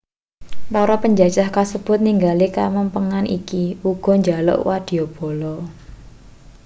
para panjajah kasebut ningali kamempengan iki uga njaluk wadyabala